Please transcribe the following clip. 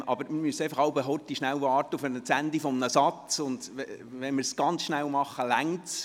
Aber wir müssen jeweils kurz auf das Ende eines Satzes warten.